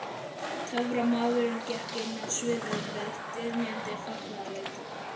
Töframaðurinn gekk inn á sviðið við dynjandi fagnaðarlæti.